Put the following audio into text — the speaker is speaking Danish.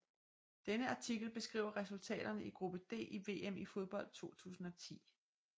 Denne artikel beskriver resultaterne i gruppe D i VM i fodbold 2010